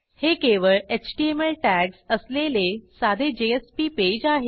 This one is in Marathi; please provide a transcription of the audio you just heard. हे केवळ एचटीएमएल टॅग्ज असलेले साधे जेएसपी पेज आहे